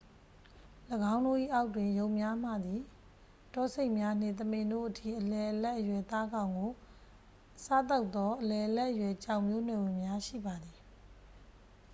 ၎င်းတို့၏အောက်တွင် ယုန်များမှသည် တောဆိတ်များနှင့် သမင်တို့အထိ အလယ်အလတ်အရွယ်သားကောင်ကို စားသောက်သော အလယ်အလတ်အရွယ်ကြောင်မျိုးနွယ်ဝင်များရှိပါသည်